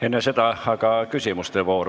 Enne seda aga küsimuste voor.